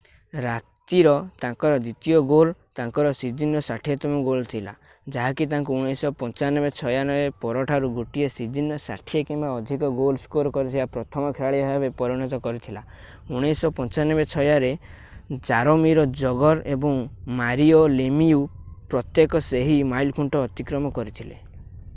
ରାତିର ତାଙ୍କର ଦ୍ଵିତୀୟ ଗୋଲ୍ ତାଙ୍କର ସିଜନର 60 ତମ ଗୋଲ୍ ଥିଲା ଯାହାକି ତାଙ୍କୁ 1995-96 ପରଠାରୁ ଗୋଟିଏ ସିଜନରେ 60 କିମ୍ବା ଅଧିକ ଗୋଲ୍ ସ୍କୋର କରିଥିବା ପ୍ରଥମ ଖେଳାଳି ଭାବେ ପରିଣତ କରିଥିଲା 1995-96 ରେ ଜାରୋମିର ଜଗର ଏବଂ ମାରିଓ ଲେମିୟୁ ପ୍ରତ୍ୟେକ ସେହି ମାଇଲଖୁଣ୍ଟ ଅତିକ୍ରମ କରିଥିଲେ